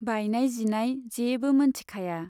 बायनाय जिनाय जेबो मोनथिखाया।